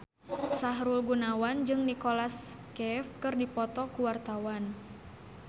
Sahrul Gunawan jeung Nicholas Cafe keur dipoto ku wartawan